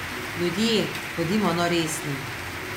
Ljudje, bodimo no resni.